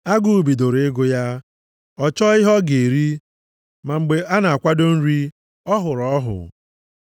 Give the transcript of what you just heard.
Agụụ bidoro ịgụ ya, ọ chọọ ihe ọ ga-eri. Ma mgbe a na-akwado nri, ọ hụrụ ọhụ.